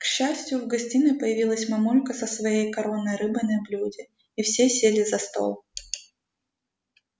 к счастью в гостиной появилась мамулька со своей коронной рыбой на блюде и все сели за стол